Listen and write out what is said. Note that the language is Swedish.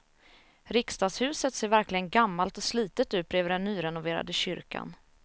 Riksdagshuset ser verkligen gammalt och slitet ut bredvid den nyrenoverade kyrkan.